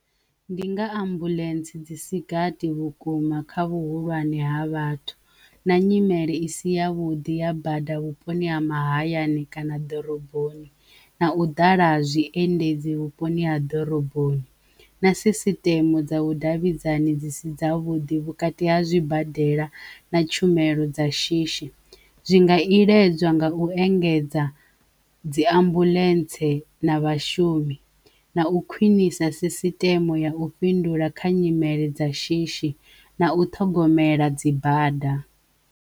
Ndi nga ambuḽentse dzi sigathi vhukuma kha vhuhulwane ha vhathu na nyimele isi ya vhuḓi ha bada vhuponi ha mahayani kana ḓoroboni na u ḓala zwiendedzi vhuponi ha ḓoroboni na sisiteme dza vhudavhidzani dzi si dzavhuddi vhukati ha zwibadela na tshumelo dza shishi zwi nga iledzwa nga u engedza dzi ambuḽentse na vhashumi na u khwinisa sisiteme ya u fhindula kha nyimele dza shishi na u ṱhogomela dzi bada.